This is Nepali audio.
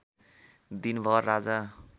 दिनभर राजा